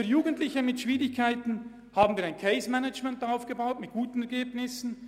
Für Jugendliche mit Schwierigkeiten haben wir zudem ein CaseManagement aufgebaut und damit gute Ergebnisse erzielt.